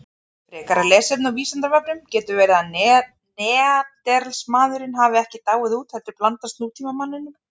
Frekara lesefni á Vísindavefnum: Getur verið að Neanderdalsmaðurinn hafi ekki dáið út heldur blandast nútímamanninum?